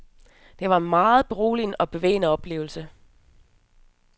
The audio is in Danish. Det var en meget beroligende og bevægende oplevelse.